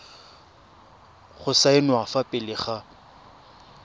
go saenwa fa pele ga